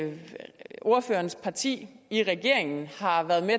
ordførerens parti i regeringen har været med